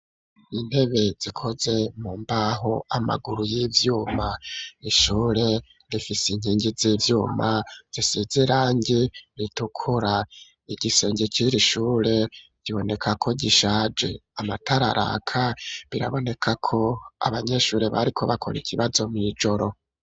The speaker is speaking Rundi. Intebe, zikoze mu mbaho, amaguru y'ivyuma; ishure rifise inkingi z'ivyuma, zisize irangi ritukura; igisenge c'iri shure, kiboneka ko gishaje, amatara araka biraboneka ko, abanyeshure, bariko bakora ikibazo, mw'ijoro.